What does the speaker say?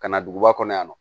Ka na duguba kɔnɔ yan nɔ